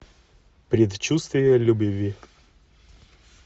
предчувствие любви